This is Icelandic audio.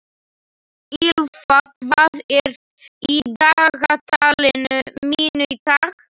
Ýlfa, hvað er í dagatalinu mínu í dag?